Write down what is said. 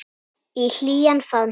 Í hlýjan faðm hennar.